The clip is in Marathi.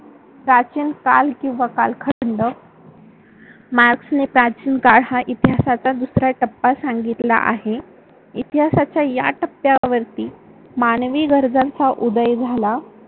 प्राचीन काल किंवा कालखंड मार्क्सने प्राचीन काळ हा इतिहासाचा दुसरा टप्पा सांगितला आहे. इतिहासाच्या या टप्प्यावरती मानवी गरजांचा उदय झाला.